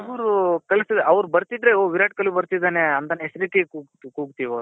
ಇವ್ರು ಅವ್ರು ಬರ್ತಿದ್ರೆ ಓಹ್ ವಿರಾಟ್ ಕೊಹ್ಲಿ ಬರ್ತಿದಾನೆ ಅಂತ ಹೆಸರಿಟ್ಟಿ ಕೂಗ್ತೀವ್ ಆವೃನ್ನ